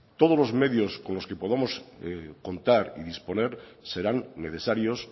todos los medios con los que podamos contar y disponer serán necesarios